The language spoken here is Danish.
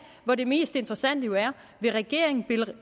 hvor det mest interessante jo er vil regeringen